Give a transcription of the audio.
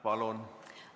Palun!